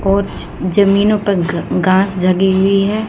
और ज जमीनों पर घ घास जगी हुई है।